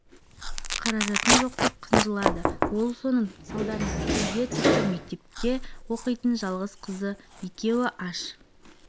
жалғызбасты ананың күнкөріс жағдайы арқа сүйенері мен ұлы бақилық болғаннан кейін нашарлаған бүгінде үйімде азық-түлік алар